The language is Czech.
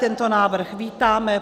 Tento návrh vítáme.